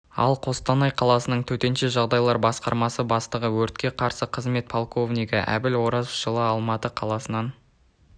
ал қостанай қаласының төтенше жағдайлар басқармасы бастығы өртке қарсы қызмет полковнигі әбіл оразов жылы алматы қаласынан